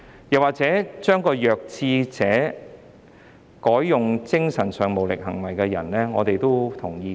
又或者將"弱智者"改為"精神上無行為能力的人"，我們也同意。